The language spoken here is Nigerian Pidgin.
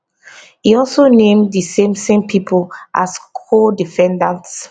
e also name di same same pipo as codefendants